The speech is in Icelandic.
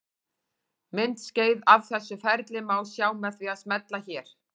Myndskeið af þessu ferli má sjá með því að smella hér.